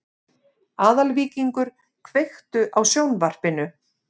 Aðalvíkingur, kveiktu á sjónvarpinu.